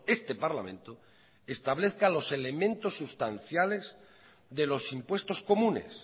este parlamento establezca los elementos sustanciales de los impuestos comunes